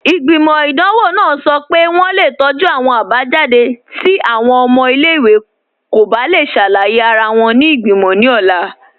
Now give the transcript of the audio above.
Igbimọ̀ idanwọ̀ nàà sọ́ pé wọǹ le tọju awọn abajadé̀ ti awọn ọ̀mọ̀ ilẹ̀-iwè kò bá le ṣàlàyé ara wọn ni igbimọ̀ ni ọ̀la